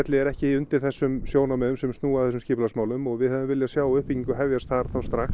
er ekki undir þessum sjónarmiðum sem snúa að þessum skipulagsmálum og við hefðum viljað sjá uppbyggingu hefjast þar strax